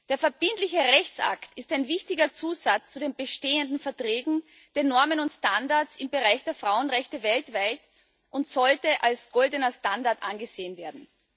Der verbindliche Rechtsakt ist ein wichtiger Zusatz zu den bestehenden Verträgen, den Normen und Standards im Bereich der Frauenrechte weltweit und sollte als goldener Standard angesehen werden.